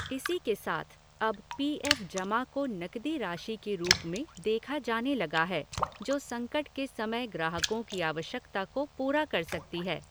इसी के साथ अब पीएफ़ जमा को नकदी राशि के रूप में देखा जाने लगा है, जो संकट के समय ग्राहकों की आवश्यकता को पूरा कर सकती है।